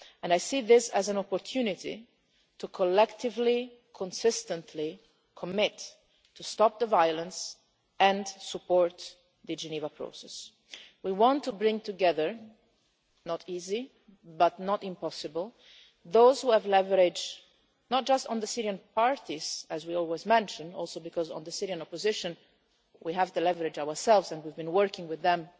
I see this as an opportunity to collectively and consistently commit to stopping the violence and supporting the Geneva process. We want to bring together it will not be easy, but nor will it be impossible those who have leverage not just on the Syrian parties, as we always mention in part because on the Syrian opposition we have the leverage ourselves and we have been working with